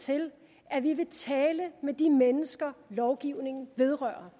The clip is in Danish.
til at vi vil tale med de mennesker lovgivningen vedrører